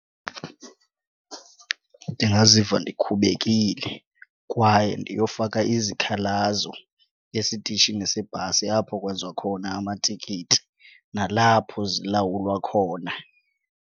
Ndingaziva ndikhubekile kwaye ndiyofaka izikhalazo esitishini sebhasi apho kwenziwa khona amatikiti nalapho zilawulwa khona.